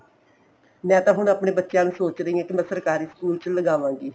ਮੈਂ ਤਾਂ ਹੁਣ ਆਪਣੇ ਬੱਚਿਆਂ ਨੂੰ ਸੋਚ ਰਹੀ ਆ ਕੀ ਮੈਂ ਸਰਕਾਰੀ school ਲਗਾਵਾਂਗੀ